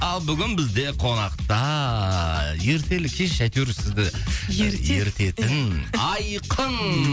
ал бүгін бізде қонақта ертелі кеш әйтеуір сізді ерітетін айқын